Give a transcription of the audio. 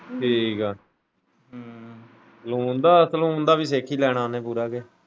ਠੀਕ ਹੈ ਸਲੂਨ ਦਾ ਵੀ ਸਿੱਖ ਲੈਣਾ ਉਨੇ ਪੂਰਾ ਕੇ।